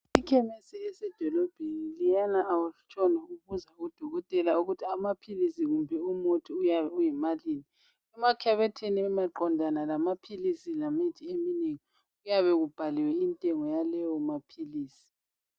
Ikhemesi esedilobheni leyana awutshoni ubuza ukuthi amaphilisi kunbe imithi yimalini, kumakhabethi emaqondana lamaphilisi lemithi eminengi intengo iyabe ibhakiwe lapho.